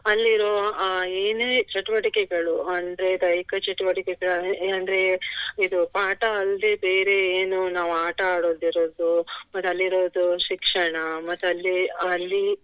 ಅಲ್ಲಿ ಇರುವ ಅಹ್ ಏನೇ ಚಟುವಟಿಕೆಗಳು ಅಂದ್ರೆ ದೈಹಿಕ ಚಟುವಟಿಕೆಗಳು ಏನ್ ಅಂದ್ರೆ ಇದು ಪಾಠ ಅಲ್ದೆ ಬೇರೆ ಏನೋ ನಾವು ಆಟ ಆಡುವುದು ಇರುವುದ್ ಮತ್ತೆ ಅಲ್ಲಿರೋದು ಶಿಕ್ಷಣ ಮತ್ತೆ ಅಲ್ಲಿ ಅಲ್ಲಿ